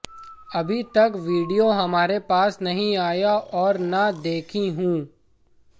अभी तक वीडियो हमारे पास नहीं आया और न देखी हूं